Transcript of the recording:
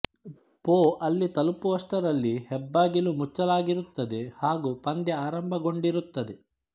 ಪೊ ಅಲ್ಲಿ ತಲುಪುವುದರಷ್ಟಲ್ಲಿ ಹೆಬ್ಬಾಗಿಲು ಮುಚ್ಚಲಾಗಿರುತ್ತದೆ ಹಾಗೂ ಪಂದ್ಯ ಆರಂಭಗೊಂಡಿರುತ್ತದೆ